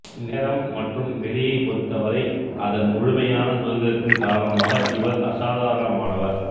நேரம் மற்றும் வெளியைப் பொறுத்தவரை அதன் முழுமையான சுதந்திரத்தின் காரணமாக இவர் அசாதாரணமானவர்